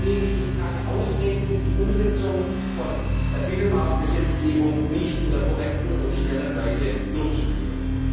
Deswegen gibt es keine Ausreden, die Umsetzung von Binnenmarktgesetzgebung nicht in der korrekten und schnellen Weise durchzuführen.